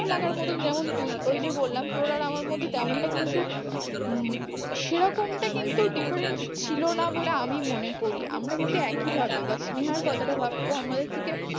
খারাপ লাগার মতন যেমন তুই ওই জো বললাম তোর আর আমার মধ্যে টা কিন্তু হম সেরকমটা কিন্তু difference ছিল না বলে আমি মনে করি আমরা কিন্তু একই ভাবে বা স্নেহার কথাটা ভাব ও আমাদের থেকে